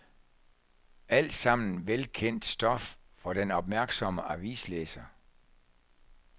Alt sammen velkendt stof for den opmærksomme avislæser.